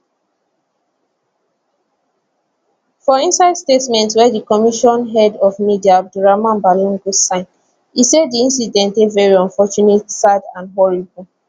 for inside statement wey di commission head of media abdurrahman balogun sign e say di incident dey veri unfortunate sad and horrible